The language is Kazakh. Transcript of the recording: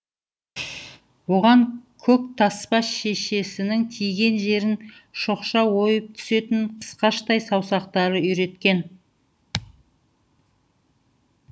бұған көктаспа шешесінің тиген жерін шоқша ойып түсетін қысқаштай саусақтары үйреткен